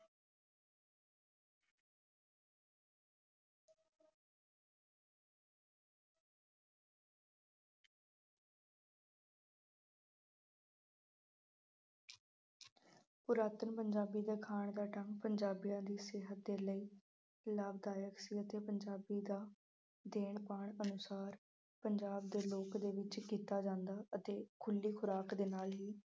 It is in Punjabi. ਪੁਰਾਤਨ ਪੰਜਾਬੀ ਦੇ ਖਾਣ ਦਾ ਢੰਗ ਪੰਜਾਬੀਆਂ ਦੀ ਸਿਹਤ ਦੇ ਲਈ ਲਾਭਦਾਇਕ ਸੀ ਅਤੇ ਪੰਜਾਬੀ ਦਾ ਦੇਣ ਪਾਣ ਪੰਸਾਰ, ਪੰਜਾਬ ਦੇ ਲੋਕ ਦੇ ਰੂਪ ਵਿੱਚ ਕੀਤਾ ਜਾਂਦਾ ਅਤੇ ਖੁੱਲ੍ਹੀ ਖੁਰਾਕ ਦੇ ਨਾਲ ਹੀ